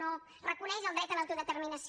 no reconeix el dret a l’autodeterminació